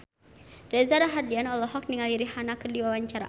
Reza Rahardian olohok ningali Rihanna keur diwawancara